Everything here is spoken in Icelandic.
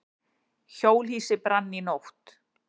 Hjólhýsi brann í nótt